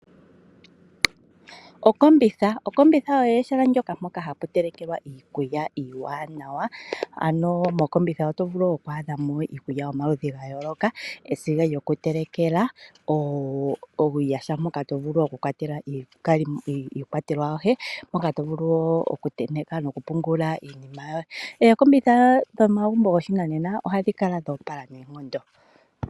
Okombitha. Okombitha olyo ehala moka hamu telekelwa iikulya iiwanawa. Mokombitha otovulu oku adhamo iikulya yomaludhi gayooloka esiga lyoku telekela , uuyaha mpoka tovulu okukwatela iikwatelwa yoye moka tovulu woo oku tenteka noku pungula. Ookombitha dhomagumbo gopashinanena ohadhi kala dho opala noonkondo.